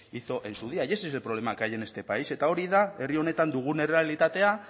hizo en su día y ese es el problema que hay en este país eta hori da herri honetan dugun errealitatea